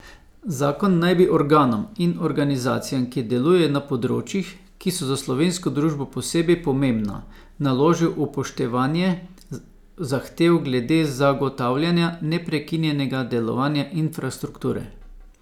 Zakon naj bi organom in organizacijam, ki delujejo na področjih, ki so za slovensko družbo posebej pomembna, naložil upoštevanje zahtev glede zagotavljanja neprekinjenega delovanja infrastrukture.